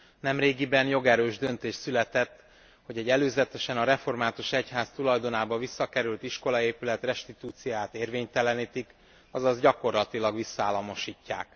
Nemrégiben jogerős döntés született, hogy egy előzetesen a református egyház tulajdonába visszakerült iskolaépület restitúcióját érvénytelenítik, azaz gyakorlatilag visszaállamosítják.